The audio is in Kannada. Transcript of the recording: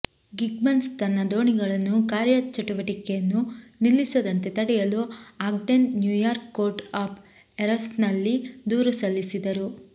ಗಿಗ್ಬನ್ಸ್ ತನ್ನ ದೋಣಿಗಳನ್ನು ಕಾರ್ಯಚಟುವಟಿಕೆಯನ್ನು ನಿಲ್ಲಿಸದಂತೆ ತಡೆಯಲು ಆಗ್ಡೆನ್ ನ್ಯೂಯಾರ್ಕ್ ಕೋರ್ಟ್ ಆಫ್ ಎರರ್ಸ್ನಲ್ಲಿ ದೂರು ಸಲ್ಲಿಸಿದರು